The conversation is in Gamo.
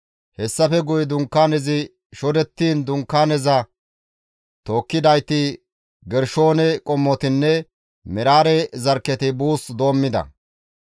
Hessafe guye dunkaanezi shodettiin Dunkaaneza tookkidayti Gershoone qommotinne Meraare zarkketi buus doommida.